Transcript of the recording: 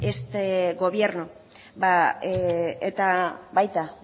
este gobierno eta baita